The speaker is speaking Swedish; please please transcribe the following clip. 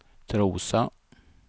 Trosa